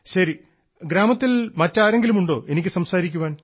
ശരി ഗ്രാമത്തിൽ മറ്റാരെങ്കിലുമുണ്ടോ എനിക്ക് സംസാരിക്കാൻ